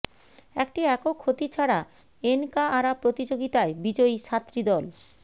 একটি একক ক্ষতি ছাড়া এনকাআরা প্রতিযোগিতায় বিজয়ী সাতটি দল